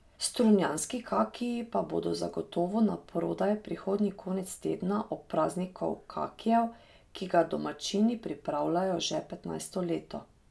Strunjanski kakiji pa bodo zagotovo naprodaj prihodnji konec tedna ob prazniku kakijev, ki ga domačini pripravljajo že petnajsto leto.